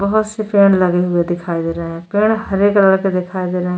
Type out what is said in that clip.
बहुत से पेड़ लगे हुए दिखाई दे रहा है पेड़ हरे कलर के दिखाई दे रहे हैं।